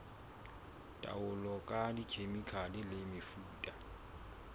taolo ka dikhemikhale le mefuta